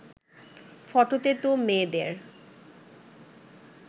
ফটোতে তো মেয়েদের